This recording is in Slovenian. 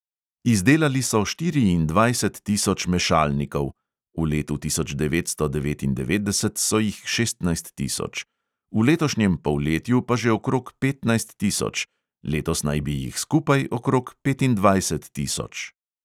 Izdelali so štiriindvajset tisoč mešalnikov (v letu tisoč devetsto devetindevetdeset so jih šestnajst tisoč), v letošnjem polletju pa že okrog petnajst tisoč, letos naj bi jih skupaj okrog petindvajset tisoč.